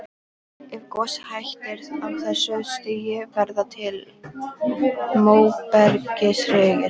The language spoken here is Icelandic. Ef gosið hættir á þessu stigi verða til móbergshryggir.